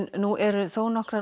nú eru þónokkrar